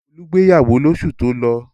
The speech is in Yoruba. Olú gbéyàwó lóṣù tó lọ?